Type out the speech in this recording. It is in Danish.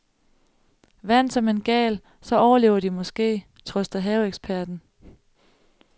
Vand som en gal, så overlever de måske, trøster haveeksperten.